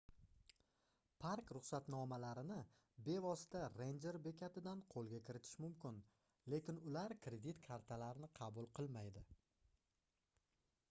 park-ruxsatnomalarini bevosita renjer bekatidan qoʻlga kiritish mumkin lekin ular kredit kartalarni qabul qilmaydi